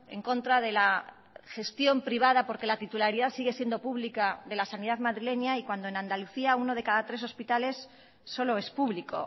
en contra de la gestión privada porque la titularidad sigue siendo pública de la sanidad madrileña y cuando en andalucía uno de cada tres hospitales solo es público